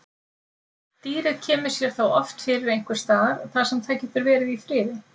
Dýrið kemur sér þá oft fyrir einhvers staðar þar sem það getur verið í friði.